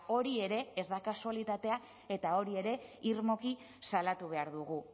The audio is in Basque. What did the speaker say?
hori ere ez da kasualitatea eta hori ere irmoki salatu behar dugu